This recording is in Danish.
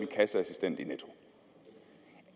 kasseassistent i netto